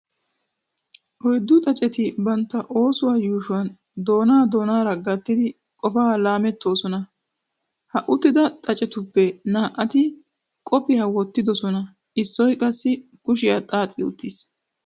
Oyddu xaaceti bantta oosuwa yuushuwan doonaa doonaara gattidi qofaa laamettoosona. Ha uttida xaacetuppe naa"ati qophiya wottidosona issoy qassi kushiya xaaxi uttiis.